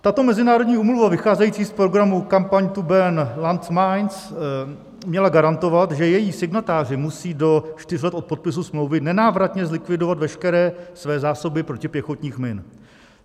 Tato mezinárodní úmluva, vycházející z programu Campaign to Ban Landmines, měla garantovat, že její signatáři musí do čtyř let od podpisu smlouvy nenávratně zlikvidovat veškeré své zásoby protipěchotních min.